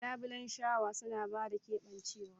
Labulen shawa suna ba da keɓancewa.